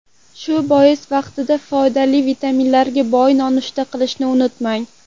Shu bois vaqtida foydali vitaminlarga boy nonushta qilishni unutmang.